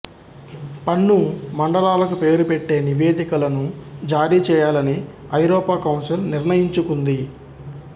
పన్ను మండలాలకు పేరు పెట్టే నివేదికలను జారీ చేయాలని ఐరోపా కౌన్సిల్ నిర్ణయించుకుంది